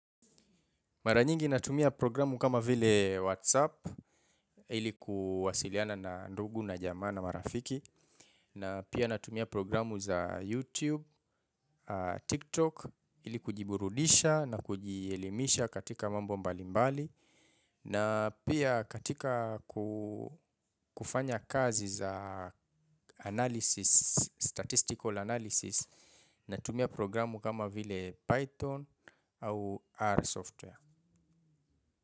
Mara nyingi natumia programu kama vile WhatsApp ili kuwasiliana na ndugu na jamaa na marafiki. Na pia natumia programu za YouTube, TikTok ili kujiburudisha na kujielimisha katika mambo mbalimbali. Na pia katika kufanya kazi za analysis statistical analysis natumia programu kama vile Python au R software.